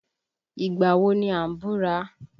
Ìgbà wo ni a ń búra?